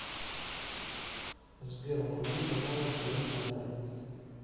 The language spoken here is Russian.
сбер вруби каналы тв центр